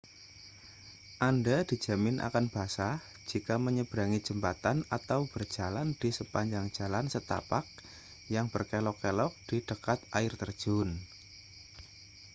anda dijamin akan basah jika menyeberangi jembatan atau berjalan di sepanjang jalan setapak yang berkelok-kelok di dekat air terjun